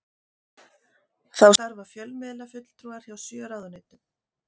Þá starfa fjölmiðlafulltrúar hjá sjö ráðuneytum